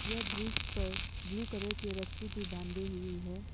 यह ब्रिज पर blue colour की रस्सी भी बांधी हुई है।